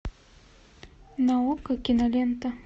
наука кинолента